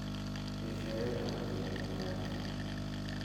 Eshoet ab cheng'et ab ki.